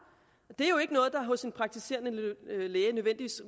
det er jo ikke noget der hos en praktiserende læge nødvendigvis